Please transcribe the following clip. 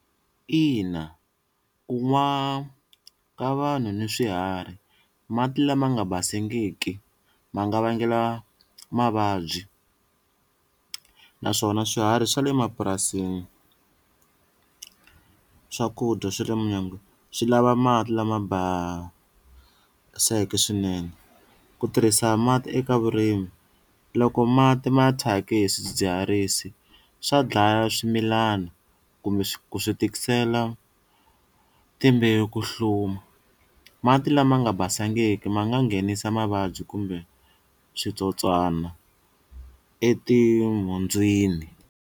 Ina ku nwa ka vanhu ni swiharhi mati lama nga basangiki ma nga vangela mavabyi naswona swiharhi swa le mapurasini swakudya swa le swi lava mati lama baseke swinene, ku tirhisa mati eka vurimi loko mati ma thyakise hi swidzidziharisi swa dlaya swi milana kumbe ku swi tikisela timbewu ku hluma, mati lama nga basangiki ma nga nghenisa mavabyi kumbe switsotswana etinhundzwini.